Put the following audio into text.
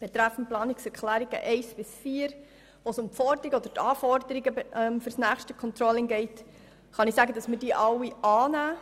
Die Planungserklärungen 1 bis 4, in denen es um die Anforderungen für das nächste Controlling geht, nehmen wir alle an.